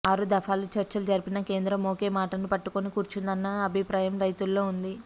ఆరు దఫాలు చర్చలు జరిపినా కేంద్రం ఒకే మాటను పట్టుకొని కూర్చున్నదన్న అభిప్రాయం రైతుల్లో ఉంది